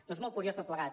doncs molt curiós tot plegat